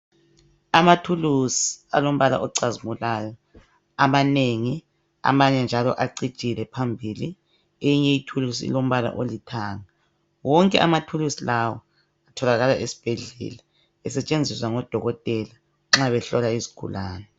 Amathuluzi alombala ocazimulayo amanengi amanye njalo acijile phambili, eyinye ithulusi ilombala olithanga, wonke amathulusi lawa atholakala esibhedlela esetshenziswa ngodokotela nxa behlola izigulane.